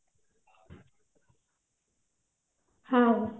ହଁ